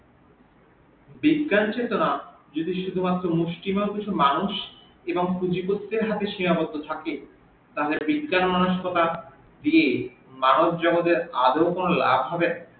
বিজ্ঞান চেতনা যদি শুধু মাত্র মুস্থিমান কিছু মানুষ এবং পুঁজি পক্রিয়া দিয়ে সেয়ার হতে থাকে তবে বিজ্ঞান মনস্কতা দিয়ে মানব জগতের আদেও কোন লাভ হবে